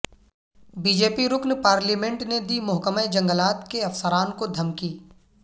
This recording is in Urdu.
بی جے پی رکن پارلیمنٹ نے دی محکمہ جنگلات کے افسران کو دھمکی